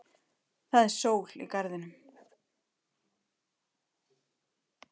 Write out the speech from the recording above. Það er sól í garðinum.